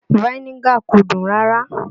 Vinegar kò dùn rárá